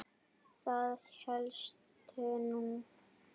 Það hélstu nú!